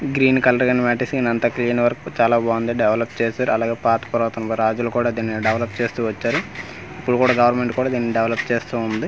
Green colour గాని వాటేసి అంత క్లీన్ వర్క్ చాల బాగుంది డెవలప్ చేసారు అలాగే పాత పురాతన రాజులు కూడా దిన్ని డెవలప్ చేస్తూ వచ్చారు ఇప్పుడు కూడా గవర్నమెంట్ కూడా దిన్ని డెవలప్ చేస్తూ ఉంది.